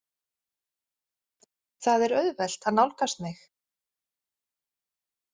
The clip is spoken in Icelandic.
Það er auðvelt að nálgast mig.